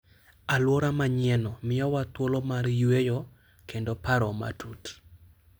Alwora manyienno miyowa thuolo mar yueyo kendo paro matut.